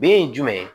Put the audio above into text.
Be ye jumɛn ye